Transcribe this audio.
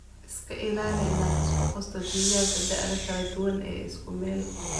Iska ilaali inaad isku qasto digaagga da'aha kala duwan ee isku meel.